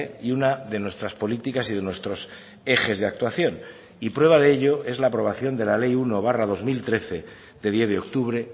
y una de nuestras políticas y de nuestros ejes de actuación y prueba de ello es la aprobación de la ley uno barra dos mil trece de diez de octubre